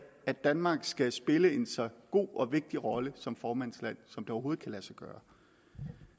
at danmark skal spille en så god og vigtig rolle som formandsland som det overhovedet kan lade sig gøre